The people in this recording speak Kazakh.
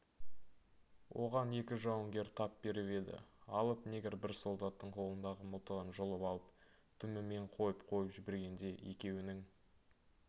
оған екі жауынгер тап беріп еді алып негр бір солдаттың қолындағы мылтығын жұлып алып дүмімен қойып-қойып жібергенде екеуінің